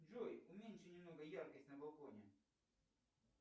джой уменьши немного яркость на балконе